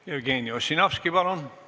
Jevgeni Ossinovski, palun!